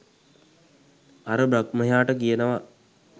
අර බ්‍රහ්මයාට කියනවා